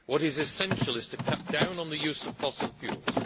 What is essential is to cut down on the use of fossil fuels.